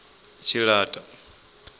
tshilata